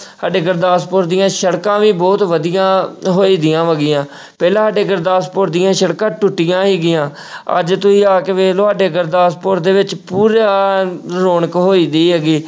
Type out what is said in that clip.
ਸਾਡੇ ਗੁਰਦਾਸਪੁਰ ਦੀਆਂ ਸੜਕਾਂ ਵੀ ਬਹੁਤ ਵਧੀਆ ਹੋਈਦੀਆਂ ਹੈਗੀਆਂ ਪਹਿਲਾਂ ਸਾਡੇ ਗੁਰਦਾਸਪੁਰ ਦੀਆਂ ਸੜਕਾਂ ਟੁੱਟੀਆਂ ਸੀਗੀਆਂ ਅੱਜ ਤੁਸੀਂ ਆ ਕੇ ਵੇਖ ਲਓ ਸਾਡੇ ਗੁਰਦਾਸਪੁਰ ਦੇ ਵਿੱਚ ਪੂਰਾ ਰੌਣਕ ਹੋਈਦੀ ਹੈਗੀ,